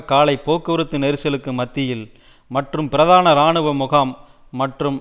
காலை போக்குவரத்து நெரிசலுக்கு மத்தியில் மற்றும் பிரதான இராணுவ முகாம் மற்றும்